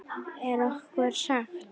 Er okkur sagt.